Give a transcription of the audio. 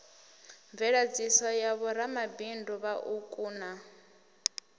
mveladziso ya vhoramabindu vhauku na